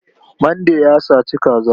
Mande ya saci kaza.